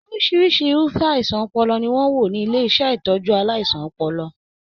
Orisirisi irufẹ àìsàn ọpọlọ ni wọn n wo ni ilé ìtọjú aláìsàn ọpọlọ.